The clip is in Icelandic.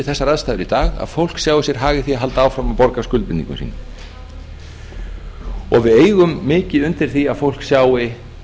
þessar aðstæður í dag að fólk sjái sér hag í því að halda áfram að borga af skuldbindingum sínum og við eigum mikið undir því að fólk sjái